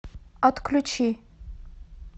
отключи